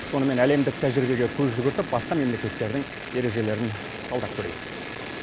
сонымен әлемдік тәжірибеге көз жүгіртіп басқа мемлекеттердің ережелерін талдап көрейік